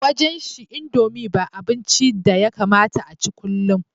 A wajenshi indomie ba abincin da yakamata a ci kullum